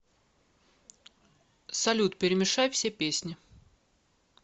салют перемешай все песни